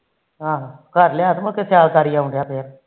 ਆਹੋ ਘਰ ਲਿਆ ਤੇ ਸਿਆਲ